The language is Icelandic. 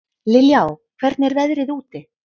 Liljá, hvernig er veðrið úti?